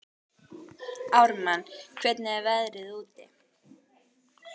Ármann, hvernig er veðrið úti?